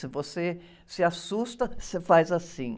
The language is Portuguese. Se você se assusta, você faz assim.